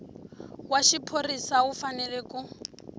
wa xiphorisa u fanele ku